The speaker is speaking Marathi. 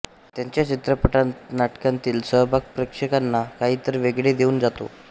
त्यांचा चित्रपटनाटकांतील सहभाग प्रेक्षकांना काहीतरी वेगळे देऊन जातो